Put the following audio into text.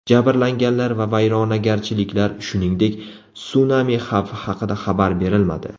Jabrlanganlar va vayronagarchiliklar, shuningdek, sunami xavfi haqida xabar berilmadi.